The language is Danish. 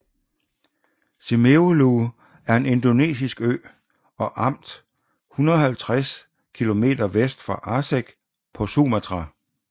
Simeulue er en indonesisk ø og amt 150 km vest for Aceh på Sumatra